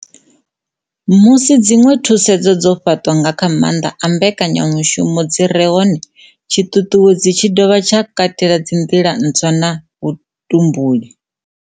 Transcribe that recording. Musi dziṅwe thusedzo dzo fhaṱwa nga kha maanḓa a mbekanyamushumo dzi re hone, tshiṱuṱuwedzi tshi dovha tsha katela nḓila ntswa na vhutumbuli.